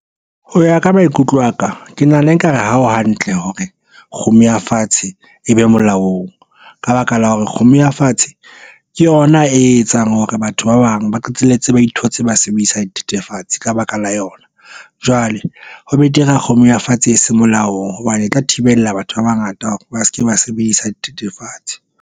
Ho ya ka maikutlo aka ke nahana ekare ha o hantle hore kgomo ya fatshe e be molaong ka baka la hore kgomo ya fatshe ke yona e etsang hore batho ba bang ba qetelletse ba ithotse ba sebedisa dithethefatsi ka baka la yona. Jwale ho betere a kgomo ya fatshe e seng molaong hobane e tla thibela batho ba bangata hore ba se ke ba sebedisa dithethefatsi.